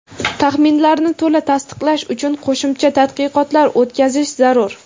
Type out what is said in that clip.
taxminlarni to‘la tasdiqlash uchun qo‘shimcha tadqiqotlar o‘tkazish zarur.